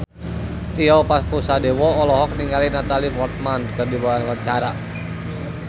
Tio Pakusadewo olohok ningali Natalie Portman keur diwawancara